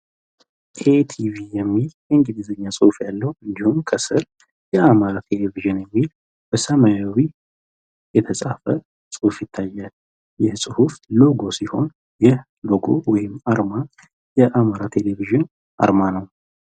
ኤቲቪ የሚል ኢንግሊዘኛ ፅሁፍ ያለው እንዲሁም ከስር የአማሪ ቴሌቬዥን የሚል በሰማያዊ የተፃፈ ፅሁፍ ይታያል። ይህ ፅሁፍ ሎጎ ሲሆን ይህ ሎጎ ወይም አርማ የአማራ ቴሌቬዥን አርማ ነው።